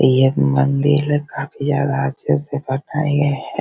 ये मंदिर है काफी ज्यादा अच्छा से बनाया है।